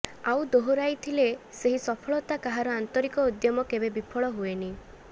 ଆଉ ଦୋହରାଇତିଲେ ସେହି ସଫଳତା କାହାର ଆନ୍ତରିକ ଉଦ୍ୟମ କେବେ ବିଫଳ ହୁଏନି